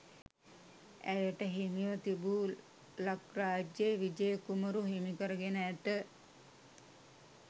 ඇයට හිමිව තිබූ ලක්රාජ්‍ය විජය කුමරු හිමිකරගෙන ඇත.